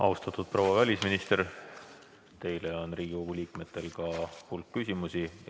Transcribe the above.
Austatud proua välisminister, Riigikogu liikmetel on teile ka hulk küsimusi.